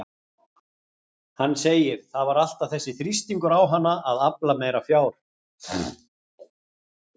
Hann segir: Það var alltaf þessi þrýstingur á hana að afla meira fjár